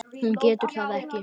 Hún getur það ekki.